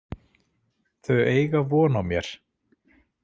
Þau eiga von á mér.